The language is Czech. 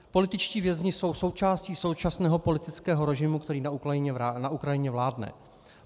Političtí vězni jsou součástí současného politického režimu, který na Ukrajině vládne.